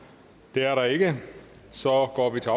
det er der ikke så går vi til